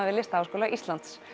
við Listaháskóla Íslands